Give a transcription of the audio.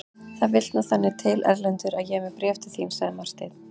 Það vill nú þannig til Erlendur að ég er með bréf til þín, sagði Marteinn.